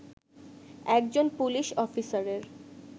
একজন পুলিশ অফিসারের